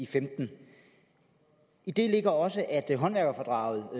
femten i det ligger også at håndværkerfradraget